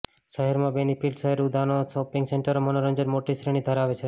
શહેરમાં બેનિફિટ શહેર ઉદ્યાનો થી શોપિંગ સેન્ટરો મનોરંજન મોટી શ્રેણી ધરાવે છે